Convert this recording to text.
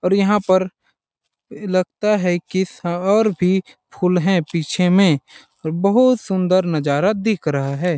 और यहाँ पर लगता है की स और भी फूल है पीछे में और बहुत सूंदर नज़ारा दिख रहा है।